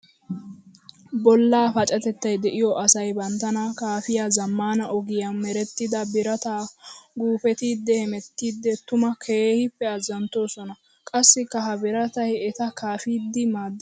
Bollaa pacatettay de'iyo asay banttana kaafiya zamaana ogiya meretidda birata guupetiddi hemettiddi tuma keehippe azanttosona. Qassikka ha biratay etta kaafiddi maades.